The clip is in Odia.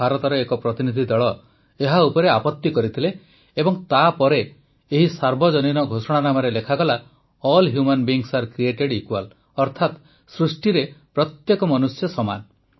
କିନ୍ତୁ ଭାରତର ଏକ ପ୍ରତିନିଧି ଦଳ ଏହା ଉପରେ ଆପତି କରିଥିଲେ ଏବଂ ତାପରେ ଏହି ସାର୍ବଜନୀନ ଘୋଷଣାନାମାରେ ଲେଖାଗଲା all human beings are created equal ଅର୍ଥାତ୍ ସୃଷ୍ଟିରେ ପ୍ରତ୍ୟେକ ମନୁଷ୍ୟ ସମାନ